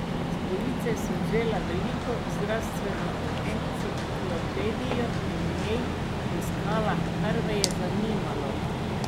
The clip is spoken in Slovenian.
S police sem vzela veliko zdravstveno enciklopedijo in v njej poiskala, kar me je zanimalo.